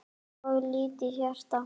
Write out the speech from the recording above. of lítið hjarta